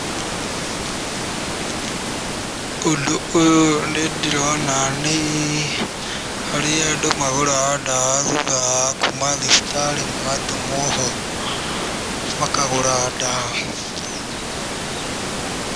Ũndũ ũyũ nĩ ndĩrona nĩ harĩa andũ magũraga ndawa thutha wa kuma thibitarĩ magatũmwo ho, makagũra ndawa.